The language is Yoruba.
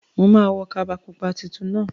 Mo ma wo kaba pupa titun náà